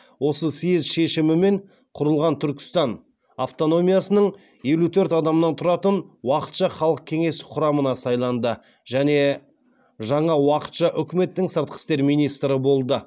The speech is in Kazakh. осы съезд шешімімен құрылған түркістан автономиясының елу төрт адамнан тұратын уақытша халық кеңесі құрамына сайланды және жаңа уақытша үкіметтің сыртқы істер министрі болды